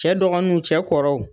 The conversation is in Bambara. Cɛ dɔgɔniw cɛ kɔrɔw